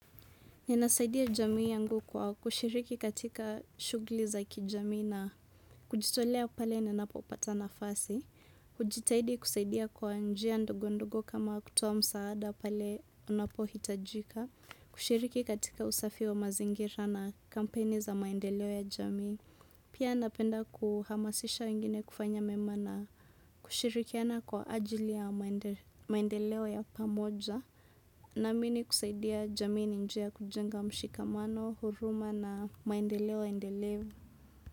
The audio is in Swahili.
Ninasaidia jamii yangu kwa kushiriki katika shughuli za kijamii na kujitolea pale ninapopata nafasi. Kujitahidi kusaidia kwa njia ndogondogo kama kutoa msaada pale unapohitajika. Kushiriki katika usafi wa mazingira na kampeni za maendeleo ya jamii. Pia napenda kuhamasisha wengine kufanya mema na kushirikiana kwa ajili ya maendeleo ya pamoja. Naamini kusaidia jamii ni njia ya kujenga mshikamano, huruma na maendeleo endelevu.